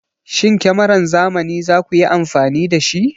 Shin kamaran zamani za ku yi amfani da shi?